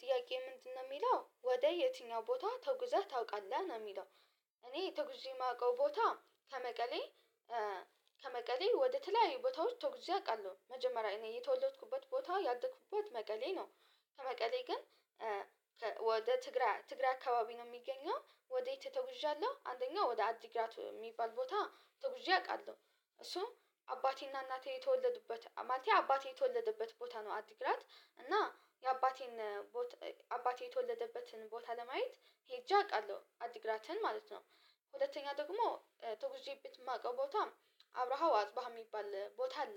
ጥያቄ ምንድነው የሚለው ወደ የትኛው ቦታ ተጉዘህ ታውቃለህ ነው የሚለው? እኔ ተጉዠ የማውቀው ቦታ ከመቀሌ ከመቀሌ ወደ ተለያዩ ቦታዎች ተጉዠ አውቃለሁ መጀመሪያ እኔ የተወለዱበት ቦታ ያደኩበት መቀሌ ነው። ከመቀሌ ግን ወደ ትግራይ ትግራይ አካባቢ ነው የሚገኘው ወደ የት ነጉዣለሁ አንደኛው ወደ አዲግራት የሚባል ቦታ ተጉዠ አውቃለሁ እሱ አባቴና እናቴ የተወለዱበት ማለት አባቴ የተወለደበት ቦታ ነው አዲግራት እና የአባቴን አባቴ የተወለደበትን ቦታ ለማየት ሄጄ አውቃለሁ አዲግራትን ማለት ነው። ሁለተኛ ደግሞ ተጉዠበት የማውቀው ቦታ አብረሃው አጽበሃው የሚባል ቦታ አለ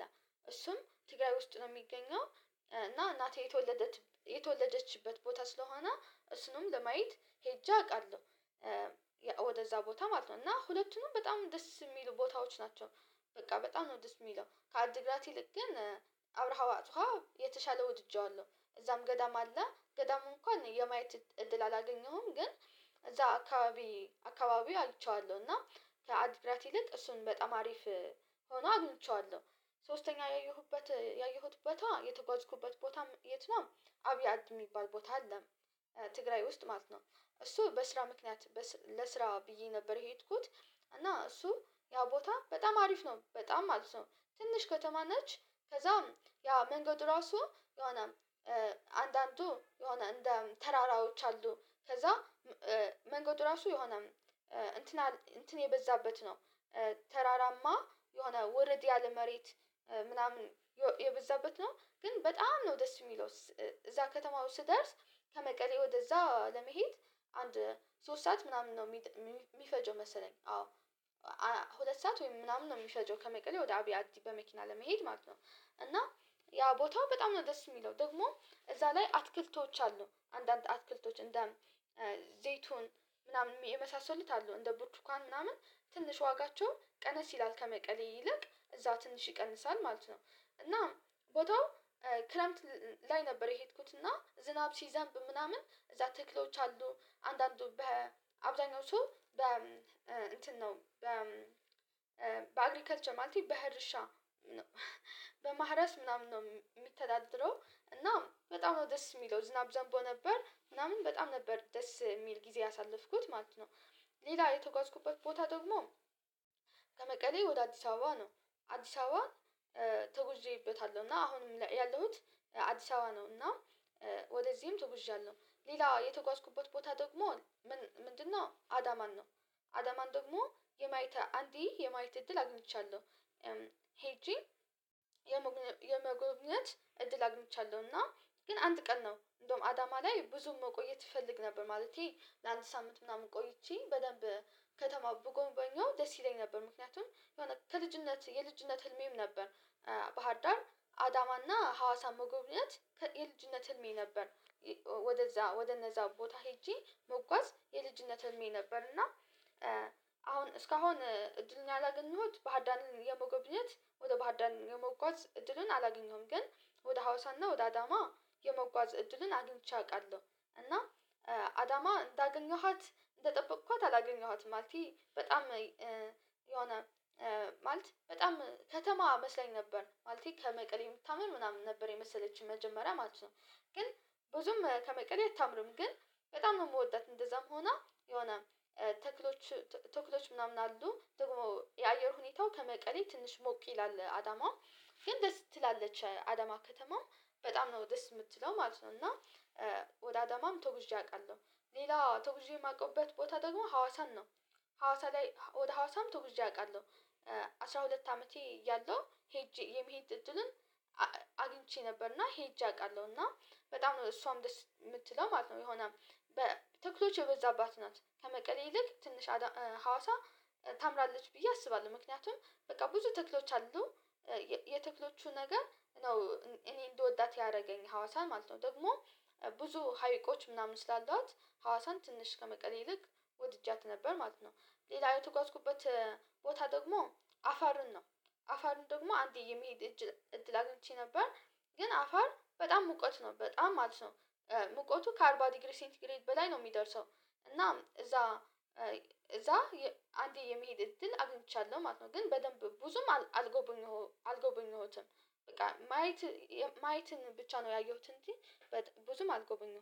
እሱም ትግራይ ውስጥ ነው የሚገኘው እና እናቴ የተወለደችበት ቦታ ስለሆነ እሱንም ለማየት ሄጄ አውቃለሁ ወደዛ ቦታ ማለት ነው እና ሁለቱንም በጣም ደስ የሚሉ ቦታዎች ናቸው። በቃ በጣም ነው ደስ የሚለው ከአዲግራት ይልቅ ግን አብረሃ አፀብሀ የተሻለ ወድጄዋለሁ እዛም ገዳም አለ ገዳሙ እንኳን የማየት እድል አላገኘሁም ግን እዛ አካባቢ አካባቢ አይቼዋለሁ እና ከአዲግራት ይልቅ እሱን በጣም አሪፍ ሆኖ አግኝቼዋለሁ። ሶስተኛ ያየሁበት ያየሁበት ቦታ የተጓዝኩበት ቦታ የት ነው አብያት የሚባል ቦታ አለ ትግራይ ውስጥ ማለት ነው እሱ በስራ ምክንያት ለስራ ብዬ ነበር የሄድኩት እና እሱ ያው ቦታ በጣም አሪፍ ነው በጣም ማለት ነው። ትንሽ ከተማ ነች ከዛም ያ መንገድ ራሱ የሆነ አንዳንዱ የሆነ እንደ ተራራዎች አሉ ከዛ መንገዱ ራሱ የሆነ እንትን እንትን የበዛበት ነው ተራራማ የሆነ ውረድ ያለ መሬት ምናምን የበዛበት ነው ግን በጣም ነው ደስ የሚለው። እዛ ከተማው ስደርስ ከመቀሌ ወደዛ ለመሄድ አንድ ሶስት ሰዓት ምናምን ነው የሚፈጀው መሰለኝ አዎ ሁለት ሰዓት ወይም ምናምን ነው የሚፈጀው ከመቀሌ ወደ አብያ አዲ በመኪና ለመሄድ ማለት ነው። እና ያ ቦታ በጣም ነው ደስ የሚለው ደግሞ እዛ ላይ አትክልቶች አሉ አንዳንድ አትክልቶች እንደ ዘይቱን ምናምን የመሳሰሉት አሉ እንደ ቡርቱካን ምናምን ትንሽ ዋጋቸው ቀነስ ይላል ከመቀሌ ይልቅ እዛ ትንሽ ይቀንሳል ማለት ነው። እና ቦታው ክረምት ላይ ነበር የሄድኩት እና ዝናብ ሲዘንብ ምናምን እዛ ትክሎች አሉ አንዳንዱ በአብዛኞቹ በ እንትን ነው በ በአግሪካልቸር ማለት በእርሻ በማረስ ምናምን ነው የሚተዳደረው እና በጣም ነው ደስ የሚለው ዝናብ ዘንቦ ነበር ምናምን በጣም ነበር ደስ የሚል ጊዜ ያሳለፍኩት ማለት ነው። ሌላ የተጓዝኩበት ቦታ ደግሞ ከመቀሌ ወደ አዲስ አበባ ነው አዲስ አበባ ተጉዠበታለሁ እና አሁንም ያለሁት አዲስ አበባ ነው እና። ወደዚህም ተጉዣለሁ ሌላው የተጓዝኩበት ቦታ ደግሞ ምንድነው አዳማን ነው አዳማን ደግሞ የማየት አንዴ የማየት እድል አግኝቻለሁ። ሄጄ የመጎብኘት እድል አግኝቻለሁ እና ግን አንድ ቀን ነው እንደውም አዳማ ላይ ብዙም መቆየት እፈልግ ነበር ማለቴ ለአንድ ሳምንት ምናምን ቆይቼ በደንብ ከተማውን ብጎበኘው ደስ ይለኝ ነበር ምክንያቱም የሆነ ከልጅነት የልጅነት ህልሜም ነበር። ባህርዳር አዳማና ሀዋሳ መጎብኘት የልጅነት ህልሜ ነበር። ወደዛ ወደነዛ ቦታ ሄጄ መጓዝ የልጅነት ህልሜ ነበር እና አሁን እስካሁን እድልን ያላገኘሁት ባህር ዳርን የመጎብኘት ወደ ባህርዳር የመጓዝ እድልን አላገኘሁም ግን ወደ ሀውሳና ወደ አዳማ የመጓዝ እድልን አግኝቼ አውቃለሁ። እና አዳማ እንዳገኘኋት እንደጠበኳት አላገኘኋትም ማለቴ በጣም የሆነ ማለት በጣም ከተማ መስላኝ ነበር ማለት ከመቀሌ የምታምር ምናምን ነበር የመሰለችኝ መጀመሪያ ማለት ነው። ግን ብዙም ከመቀሌ አታምርም ግን በጣም ነው የምወዳት እንደዛም ሆና የሆነ ተክሎች ተክሎች ምናምን አሉ ደግሞ የአየር ሁኔታው ከመቀሌ ትንሽ ሞቅ ይላል አዳማ ግን ደስ ትላለች አዳማ ከተማው በጣም ነው ደስ የምትለው ማለት ነው እና ወደ አዳማም ተጉዤ አውቃለሁ። ሌላ ተጉዤ የማውቀውበት ቦታ ደግሞ ሀዋሳን ነው ሀዋሳ ላይ ወደ ሀዋሳም ተጉዤ አውቃለሁ አስራ ሁለት አመቴ ያለው ሄጄ የመሄድ እድልን አግኝቼ ነበርና ሄጄ አውቃለሁና በጣም ነው እሷም ደስ የምትለው ማለት ነው የሆነ ተክሎች የበዛባት ናት ከመቀሌ ይልቅ ትንሽ ሀዋሳ ታምራለች ብዬ አስባለሁ ምክንያቱም በቃ ብዙ ተክሎች አሉ የተክሎቹ ነገር ነው እኔ እንደወዳት ያደረገኝ ሀዋሳ ማለት ነው ደግሞ ብዙ ሀይቆች ምናምን ስላሏት ሀዋሳን ትንሽ ከመቀሌ ይልቅ ወድጃት ነበር ማለት ነው። ሌላ የተጓዝኩበት ቦታ ደግሞ አፋርን ነው አፋርን ደግሞ አንዴ የሚሄድ እድል አግኝቼ ነበር ግን አፋር በጣም ሙቀት ነው በጣም ማለት ነው ሙቀቱ ከአርባ ዲግሪ ሴንቲግሬድ በላይ ነው የሚደርሰው። እና እዛ እዛ አንዴ የመሄድ እድል አግኝቻለሁ ማለት ነው። ግን በደንብ ብዙም አልጎበኘሁትም በቃ ማየት ማየትን ብቻ ነው ያየሁት እንጂ ብዙም አልጎበኘሁትም